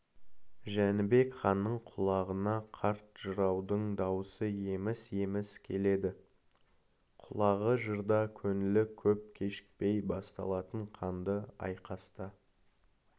жәнібек ханның құлағына қарт жыраудың даусы еміс-еміс келеді құлағы жырда көңілі көп кешікпей басталатын қанды айқаста